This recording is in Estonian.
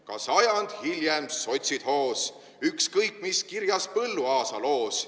Ka sajand hiljem sotsid hoos, ükskõik, mis kirjas Põlluaasa loos.